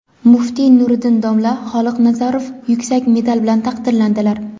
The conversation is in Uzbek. Muftiy Nuriddin domla Xoliqnazarov yuksak medal bilan taqdirlandilar.